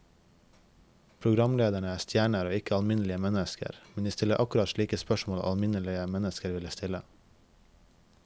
Programlederne er stjerner og ikke alminnelige mennesker, men de stiller akkurat slike spørsmål alminnelige mennesker ville stille.